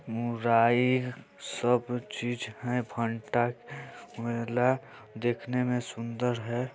मुराई सब चीज है भंटा मेला देखने में सुन्दर है।